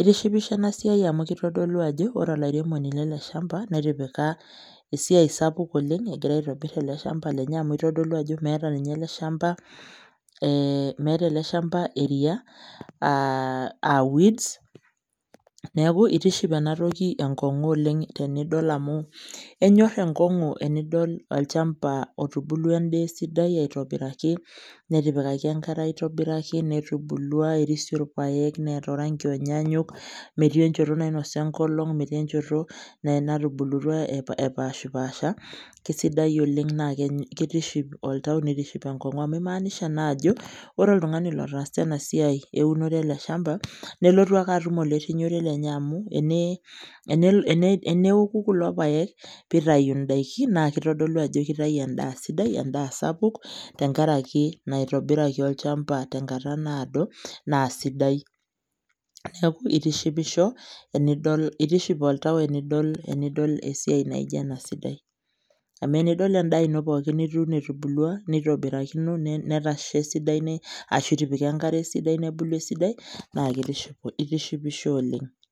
Itishipisho ena siai amu kitodolu ajo ore olairemoni lele shamba netipika esiai sapuk oleng' egira aitobir ele shamba lenye amu itodolu ajo meeta ninye ele shamba ee meeta ele shamba eria aa aa weeds. Neeku itiship ena toki enkong'u oleng' tenidol amu enyor enkong'u enidol olchamba otubulua endaa esidai aitobiraki, netipikaki enkare aitoiraki, netubulua erisio irpaek neeta orang'i onyanyuk, metii enjoto nainosa enkolong', metii enjoto natubulutua epaashipaasha, kesidai oleng' naake kitiship oltau, nitiship enkong'u amu imaanisha naa ajo ore oltung'ani lotaasa ena siai eunoto ele shamba nelotu ake atum olerinyore lenye amu ene ene eneoku kulo paek piitayu ndaikin naake itodolu ajo kitayu endaa sidai, endaa sapuk tenkaraki naitobiraki olchamba tenkata naado naa sidai. Neeku itishipisho enidol itiship oltau enidol enidol esiai naijo ena sidai amu enidol endaa ino pookin nituuno etubulua nitobirakino netasha esidai ashu itipika enkare esidai nebulu esidai naake itishipisho oleng'.